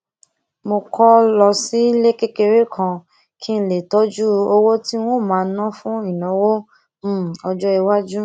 mo kó lọ sílé kékeré kan kí n lè tójú owó tí n ó máa ná fún ìnáwó um ọjó iwájú